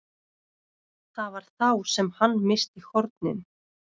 Það var þá sem hann missti hornin.